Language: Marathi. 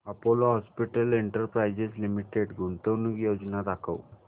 अपोलो हॉस्पिटल्स एंटरप्राइस लिमिटेड गुंतवणूक योजना दाखव